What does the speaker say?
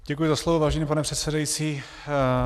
Děkuji za slovo, vážený pane předsedající.